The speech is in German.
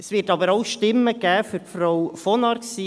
Es wird aber auch Stimmen für Frau von Arx geben.